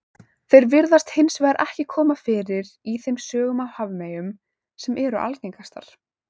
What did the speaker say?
Þeir virðast hins vegar ekki koma fyrir í þeim sögum af hafmeyjum sem eru algengastar.